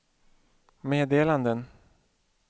meddelanden